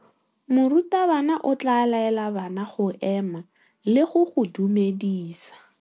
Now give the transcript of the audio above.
Morutabana o tla laela bana go ema le go go dumedisa.